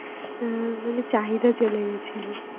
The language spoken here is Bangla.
আহ মানে চাহিদা চলে গেছিল